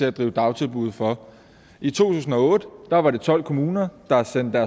at drive dagtilbud for i to tusind og otte var det tolv kommuner der sendte